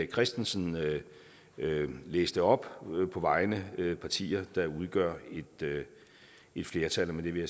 christensen læste op på vegne af partier der udgør et flertal og med det vil